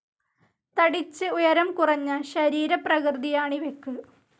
തടിച്ച് ഉയരം കുറഞ്ഞ ശരീരപ്രകൃതിയാണിവയ്ക്ക്.